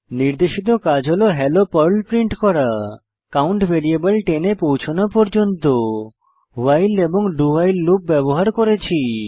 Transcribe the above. নির্দেশিত কাজ হল হেলো পার্ল প্রিন্ট করা কাউন্ট ভ্যারিয়েবল 10 এ পৌছনো পর্যন্ত ভাইল এবং do ভাইল লুপ ব্যবহার করেছি